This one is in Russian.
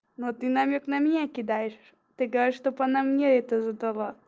но ты намёк на меня кидаешь ты говоришь чтобы она мне это задала